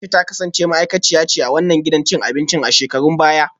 A’isha ta kasance ma’aikaciya ce a wannan gidan cin abinci a shekarun baya